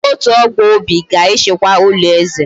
Ndi otu ogbo Obi ga echekwa ulo eze